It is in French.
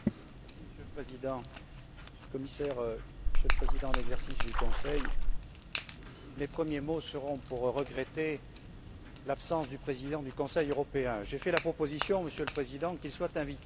Monsieur le Président, Monsieur le Commissaire, Monsieur le Président en exercice du Conseil, mes premiers mots seront pour regretter l'absence du président du Conseil européen. J'ai fait la proposition, Monsieur le Président, qu'il soit invité.